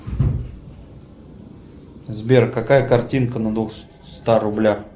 сбер какая картинка на двухстах рублях